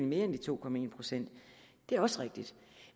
ned end de to procent det er også rigtigt